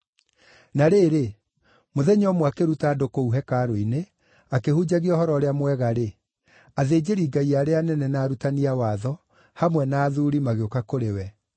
Na rĩrĩ, mũthenya ũmwe akĩruta andũ kũu hekarũ-inĩ na akĩhunjagia Ũhoro-ũrĩa-Mwega-rĩ, athĩnjĩri-Ngai arĩa anene, na arutani a watho, hamwe na athuuri magĩũka kũrĩ we.